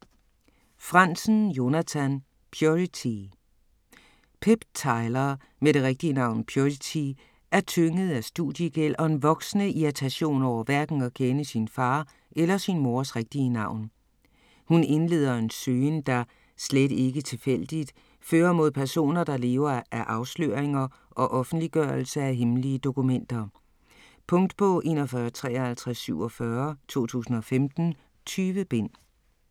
Franzen, Jonathan: Purity Pip Tyler med det rigtige navn Purity er tynget af studiegæld og en voksende irritation over hverken at kende sin far eller sin mors rigtige navn. Hun indleder en søgen der - slet ikke tilfældigt - fører mod personer der lever af afsløringer og offentliggørelse af hemmelige dokumenter. Punktbog 415347 2015. 20 bind.